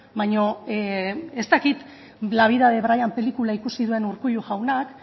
baina ez dakit la vida de brian pelikula ikusi duen urkullu jaunak